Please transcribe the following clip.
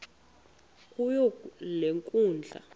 kuyo le nkundla